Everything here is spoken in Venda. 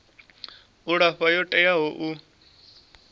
u alafha yo teaho u